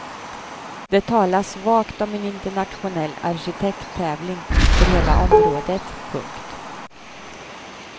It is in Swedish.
Det talas vagt om en internationell arkitekttävling för hela området. punkt